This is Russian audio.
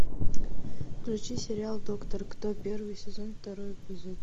включи сериал доктор кто первый сезон второй эпизод